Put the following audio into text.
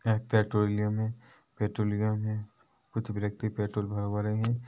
एक पेट्रोलियम है पेट्रोलियम है कुछ व्यक्ति पेट्रोल भरवा रहे है।